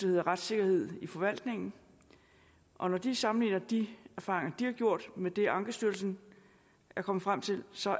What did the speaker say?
hedder retssikkerhed i forvaltningen og når de sammenligner de erfaringer de har gjort men det ankestyrelsen er kommet frem til så